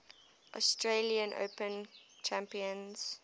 australian open champions